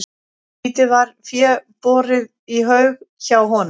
Lítið var fé borið í haug hjá honum.